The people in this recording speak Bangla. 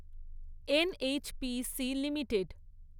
NHPC limited